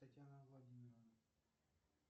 татьяна владимировна